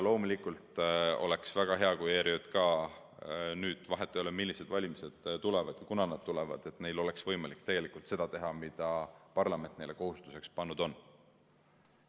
Loomulikult oleks väga hea, kui ERJK‑l – vahet ei ole, millised valimised tulevad ja kunas nad tulevad – oleks võimalik seda teha, mida parlament nende kohustuseks teinud on.